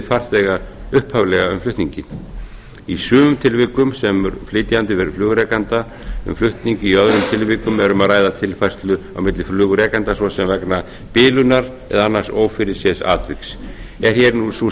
farþega upphaflega um flutninginn í sumum tilvikum semur flytjandi við flugrekanda um flutning í öðrum tilvikum er um að ræða tilfærslu á milli flugrekenda svo sem vegna bilunar eða annars ófyrirséðs atviks er hér sú